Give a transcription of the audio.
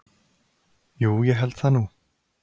Jú ég held það nú.